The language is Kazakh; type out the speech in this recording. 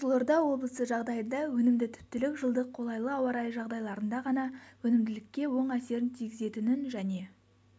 қызылорда облысы жағдайында өнімді түптілік жылдық қолайлы ауа райы жағдайларында ғана өнімділікке оң әсерін тигізетінін және